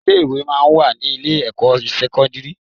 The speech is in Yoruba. Ilé-ìwé máa ń wà ní ilé-ẹ̀kọ́ sẹ́kọ́ndírì